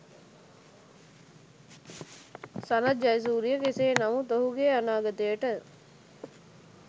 සනත් ජයසූරිය කෙසේ නමුත් ඔහුගේ අනාගතයට